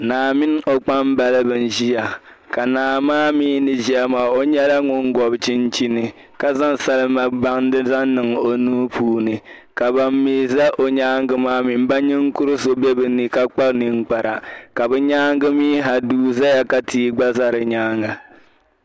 Naa mini o kpambaliba n-ʒia ka naa maa mi ni ʒia maa o nyɛla ŋun gɔbi chinchini ka zaŋ salima bansi zaŋ niŋ o nuu puuni ka bam mi za nyaaŋga maa mi m ba ninkur' so be ni ka kpa ninkpara ka bɛ nyaaŋga mi ha duu zaya ka tia gba za di nyaaŋga.